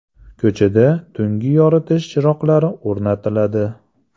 Ko‘chada tungi yoritish chiroqlari o‘rnatiladi.